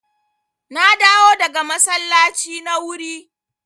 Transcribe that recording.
Na dawo daga masallaci na wuri.